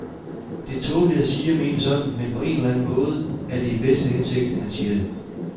Det er tåbeligt at sige og mene sådan, men på en eller anden måde er det i bedste hensigt, han siger det.